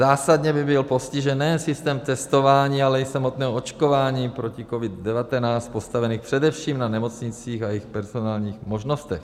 Zásadně by byl postižen nejen systém testování, ale i samotného očkování proti COVID-19, postavený především na nemocnicích a jejich personálních možnostech.